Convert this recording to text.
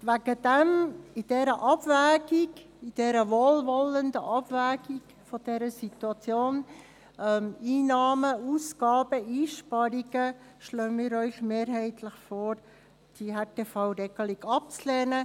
Bei dieser Abwägung, dieser wohlwollenden Abwägung dieser Situation – Einnahmen, Ausgaben, Einsparungen – schlagen wir Ihnen mehrheitlich vor, die Härtefallregelung abzulehnen.